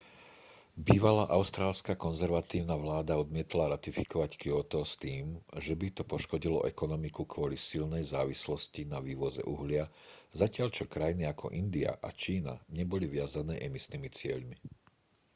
bývalá austrálska konzervatívna vláda odmietla ratifikovať kjóto s tým že by to poškodilo ekonomiku kvôli silnej závislosti na vývoze uhlia zatiaľ čo krajiny ako india a čína neboli viazané emisnými cieľmi